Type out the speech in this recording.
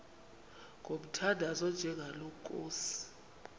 ngomthandazo onjengalo nkosi